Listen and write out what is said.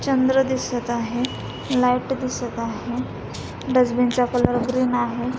चंद्र दिसत आहे लाइट दिसत आहे डस्टबिन चा कलर ग्रीन आहे.